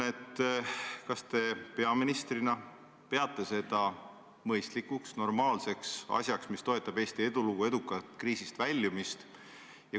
Kas te peaministrina peate seda mõistlikuks, normaalseks asjaks, mis toetab Eesti edulugu, edukat kriisist väljumist?